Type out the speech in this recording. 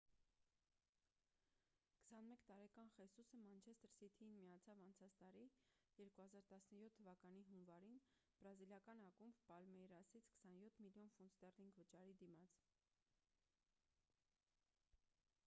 21 տարեկան խեսուսը մանչեստր սիթիին միացավ անցած տարի 2017 թվականի հունվարին բրազիլական ակումբ պալմեյրասից 27 միլիոն ֆունտ ստեռլինգ վճարի դիմաց